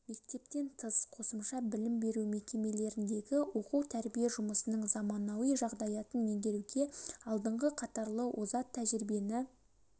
мектептен тыс қосымша білім беру мекемелеріндегі оқу-тәрбие жұмысының заманауи жағдаятын меңгеруге алдыңғы қатарлы озат тәжірибені